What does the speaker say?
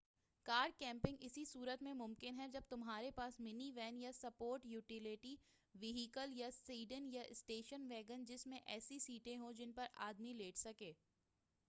کار camping اسی صورت میں ممکن ہے جب تمہارے پاس منی وین یا سپورٹ یوٹیلیٹی ویھیکل یا سیڈن یا اسٹیشن ویگن جس میں ایسی سیٹیں ہوں جن پر آدمی لیٹ سکے